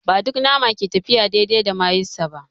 Ba duk nama ke tafiya daidai da mayonnaise ba.